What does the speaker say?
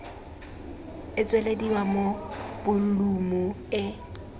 e tswelediwa mo bolumu e